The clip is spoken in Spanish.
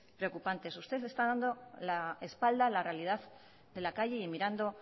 preocupantes usted está dando a la realidad de la calle y mirando